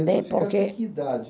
porque. que idade